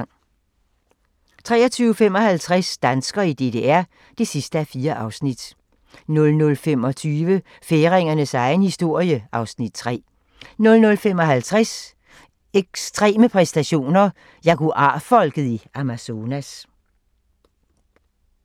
23:55: Danskere i DDR (4:4) 00:25: Færingernes egen historie (Afs. 3) 00:55: Ekstreme præstationer: Jaguar-folket i Amazonas